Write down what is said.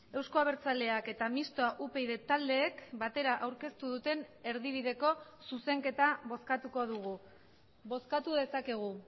euzko abertzaleak eta mistoa upyd taldeek batera aurkeztu duten erdibideko zuzenketa bozkatuko dugu bozkatu dezakegu